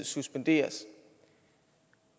suspenderes